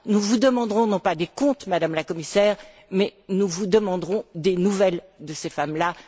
Nous vous demanderons, non pas des comptes, Madame la Commissaire, mais nous vous demanderons des nouvelles de ces femmes là.